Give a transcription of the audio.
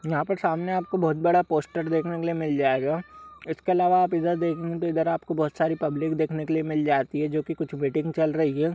यहाँ पर सामने आपको बहोत बड़ा पोस्टर देखने के लिए मिल जाएगा। इसके अलावा आप इधर देखने इधर आपको बहोत सारी पब्लिक देखने के लिए मिल जाती है जोकि कुछ मीटिंग चल रही है।